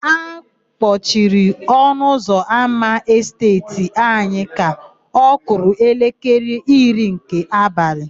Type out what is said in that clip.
A kpọciri ọnụụzọámá Esteeti anyị ka ọ kụrụ elekere iri nke abalị.